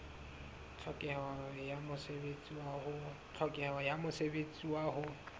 tlhokeho ya mosebetsi wa ho